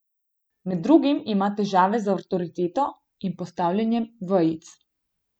Med drugim ima težave z avtoriteto in postavljanjem vejic.